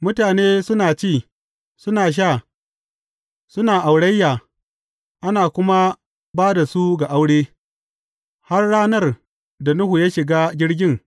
Mutane suna ci, suna sha, suna aurayya, ana kuma ba da su ga aure, har ranar da Nuhu ya shiga jirgin.